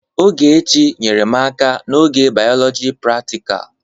Ogechi nyeere m aka n'oge Bioloji pratikal.